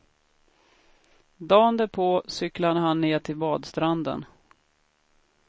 Dagen därpå cyklade han ned till badstranden.